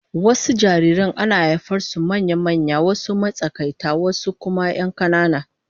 Wasu jariran ana haihuwar su manya-manya, wasu matsakaita wasu kuma 'yan kanana